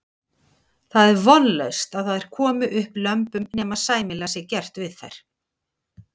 Það er vonlaust að þær komi upp lömbum nema sæmilega sé gert við þær.